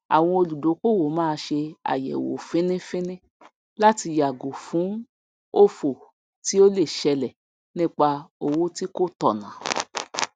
àwon olùdókòwò máá se àyèwò fíní fíní láti yàgò fún òfò tí o le selè nípà òwò tí kò tònà